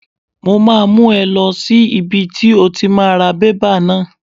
Mo máa mú ọ lọ sí ibi tí o ti máa ra bébà náà.